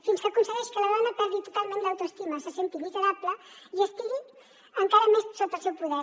fins que aconsegueix que la dona perdi totalment l’autoestima se senti miserable i estigui encara més sota el seu poder